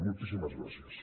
moltíssimes gràcies